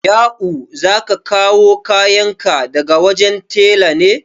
Ya'u, za ka kawo kayan ka daga wajen tela ne?